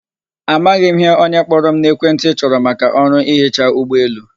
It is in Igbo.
Amaghị m ihe onye kpọrọ m n'ekwentị chọrọ maka ọrụ ihechi ụgbọelu.